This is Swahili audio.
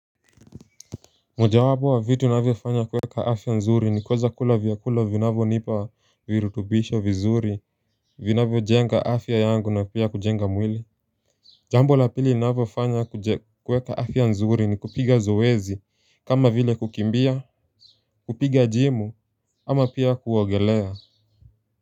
Mojawabo wa vitu navyo fanya kuweka afya nzuri ni kuweza kula vyakula vinavyo nipa virutubisho vizuri vinavyo jenga afya yangu na pia kujenga mwili Jambo la pili naavyo fanya kuweka afya nzuri ni kupiga zoezi kama vile kukimbia kupiga jimu ama pia kuwogelea.